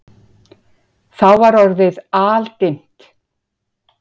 Þá var orðið aldimmt.